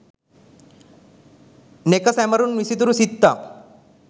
නෙක සැමරුම් විසිතුරු සිත්තම්